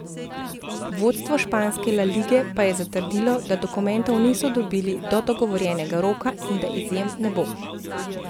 Vodstvo španske La lige pa je zatrdilo, da dokumentov niso dobili do dogovorjenega roka in da izjem ne bo.